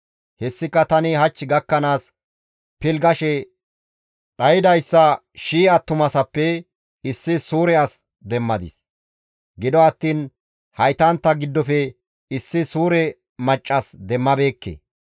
Hessika tani hach gakkanaas pilggashe dhaydayssa shii attumasappe issi suure as demmadis. Gido attiin haytantta giddofe issi suure maccas demmabeekke.